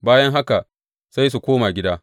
Bayan haka sai su koma gida.